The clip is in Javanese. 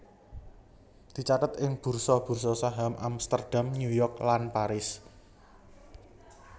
dicathet ing bursa bursa saham Amsterdam New York lan Paris